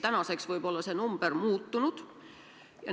Tänaseks võib see number muutunud olla.